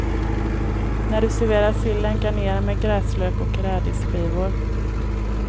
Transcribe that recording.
När du serverar sillen garnera med gräslök och rädisskivor.